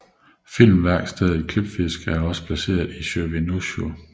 Filmværkstedet Klippfisk er også placeret i Sjóvinnuhúsið